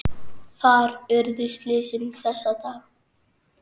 Þar urðu slysin þessa daga.